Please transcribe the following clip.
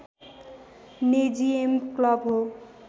नेजियम club हो